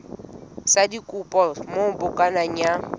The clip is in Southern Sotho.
sa dikopo moo bukana ya